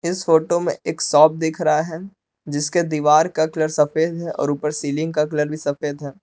इस फोटो में एक शॉप दिख रहा है जिसके दीवार का कलर सफेद है और ऊपर सीलिंग का कलर भी सफेद है।